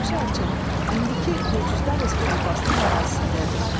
Başı açıq, indiki Gürcüstan Respublikasının ərazisindədir.